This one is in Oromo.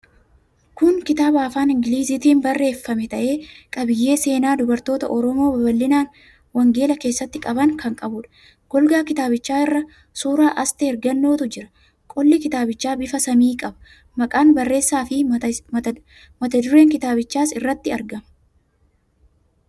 Kun kitaaba afaan Ingiliziitiin barreeffame ta'ee, qabiyyee seenaa dubartoota Oromoo babal'ina wangeelaa keessatti qaban kan qabuudha. Golgaa kitaabichaa irra suuraa Asteer Gannootu jira. Qolli kitaabichaa bifa samii qaba. Maqaan barreessaafi mata dureen kitaabichaas irratti argama.